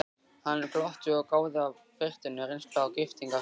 Hann glotti og gáði af biturri reynslu að giftingarhring.